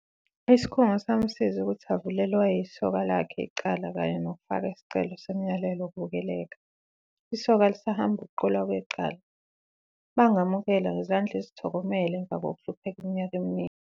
Isikhungo samusiza ukuthi avulele owayeyisoka lakhe icala kanye nokufaka isicelo somyalelo wokuvikeleka. Isoka lisahamba ukuqulwa kwecala. "Bangamukela ngezandla ezithokomele emva kokuhlupheka iminyaka eminingi."